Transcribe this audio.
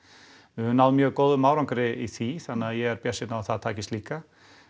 við höfum náð mjög góðum árangri í því þannig að ég er bjartsýnn á að það takist líka